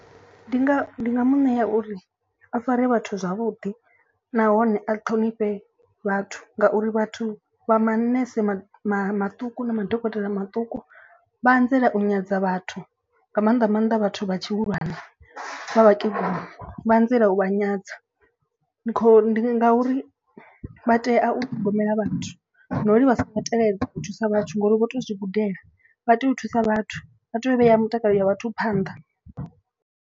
Ndi nga ndi nga mu ṋea uri a fare vhathu zwavhuḓi nahone a ṱhonifhe vhathu ngauri vhathu vha manese maṱuku na madokotela maṱuku. Vha anzela u nyadza vhathu nga maanḓa maanḓa vhathu vha tshihulwane vha vhakegulu. Vha anzela u vha nyadza ndi kho ndi ngauri vha tea u ṱhogomela vhathu no ri vha songo teledza u thusa vhathu ngori vho to zwi gudela. Vha tea u thusa vhathu vha tea u vhea mutakalo ya vhathu phanḓa.